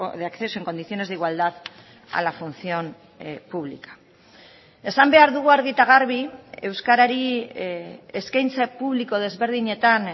de acceso en condiciones de igualdad a la función pública esan behar dugu argi eta garbi euskarari eskaintza publiko desberdinetan